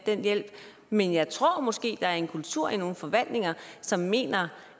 den hjælp men jeg tror måske at der er en kultur i nogle forvaltninger som mener